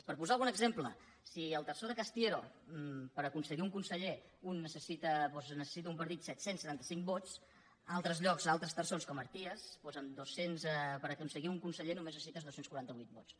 per posar ne algun exemple si al terçó de castièro per aconseguir un conseller doncs necessita un partit set cents i setanta cinc vots a altres llocs a altres terçons com a arties per aconseguir un conseller només necessites dos cents i quaranta vuit vots